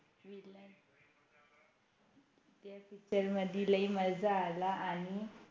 Picture मध्ये लयी मजा आला आणि